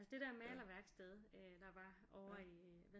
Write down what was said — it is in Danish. Altså det der malerværksted øh der var ovre i